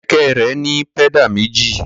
Kẹ̀kẹ́ rẹ̀ ní pẹ́dà méjì.